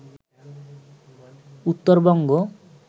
Uttarbanga